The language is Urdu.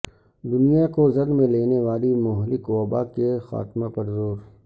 دنیا کو زد میں لینے والی مہلک وباء کے خاتمہ پر زور